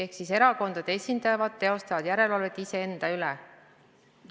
Praegu erakondade esindajad teostavad järelevalvet iseenda üle.